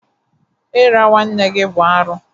Ira nwanne gị bụ arụ.